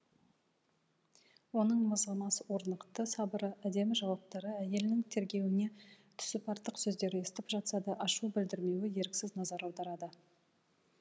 оның мызғымас орнықты сабыры әдемі жауаптары әйелінің тергеуіне түсіп артық сөздер естіп жатса да ашу білдірмеуі еріксіз назар аударады